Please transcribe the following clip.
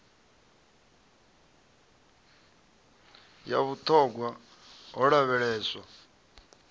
ya vhut hogwa ho lavheleswa